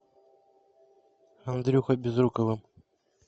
андрюхой безруковым